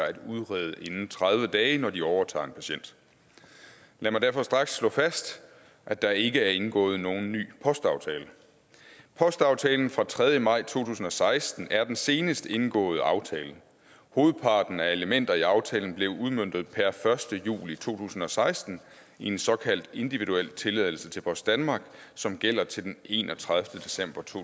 at udrede inden tredive dage når de overtager en patient lad mig derfor straks slå fast at der ikke er indgået nogen ny postaftale postaftalen fra den tredje maj to tusind og seksten er den senest indgåede aftale hovedparten af elementer i aftalen blev udmøntet per første juli to tusind og seksten i en såkaldt individuel tilladelse til post danmark som gælder til den enogtredivete december to